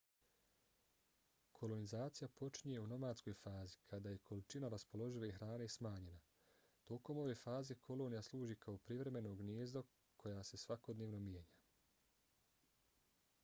kolonizacija počinje u nomadskoj fazi kada je količina raspoložive hrane smanjena. tokom ove faze kolonija služi kao privremeno gnijezdo koja se svakodnevno mijenja